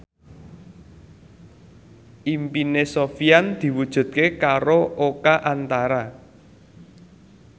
impine Sofyan diwujudke karo Oka Antara